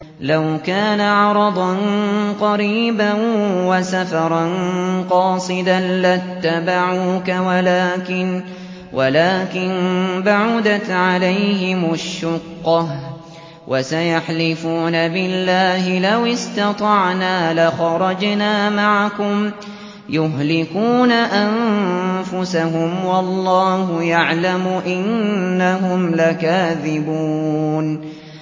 لَوْ كَانَ عَرَضًا قَرِيبًا وَسَفَرًا قَاصِدًا لَّاتَّبَعُوكَ وَلَٰكِن بَعُدَتْ عَلَيْهِمُ الشُّقَّةُ ۚ وَسَيَحْلِفُونَ بِاللَّهِ لَوِ اسْتَطَعْنَا لَخَرَجْنَا مَعَكُمْ يُهْلِكُونَ أَنفُسَهُمْ وَاللَّهُ يَعْلَمُ إِنَّهُمْ لَكَاذِبُونَ